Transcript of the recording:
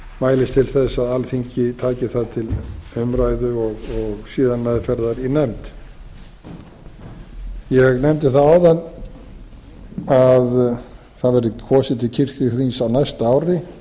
mælist til að alþingi taki það til umræðu og síðan meðferðar í nefnd ég nefndi það áðan að það væri kosið til kirkjuþings á næsta ári